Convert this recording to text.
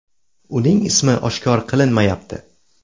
Uning ismi oshkor qilinmayapti.